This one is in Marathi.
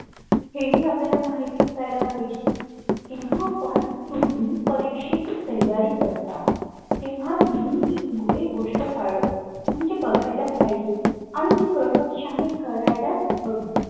हे हि आपल्याला माहित असल्याला पाहिजे जेव्हा आपण तुम्ही परीक्षेची तयारी करता तेव्हा नेहमी एक गोष्ट म्हणजे बघायलाच पाहिजे आणि ती प्रकरश्याने करायलाच हवी.